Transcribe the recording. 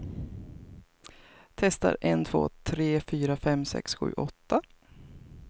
Testar en två tre fyra fem sex sju åtta.